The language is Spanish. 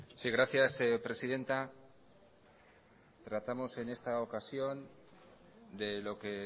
sí gracias presidenta tratamos en esta ocasión de lo que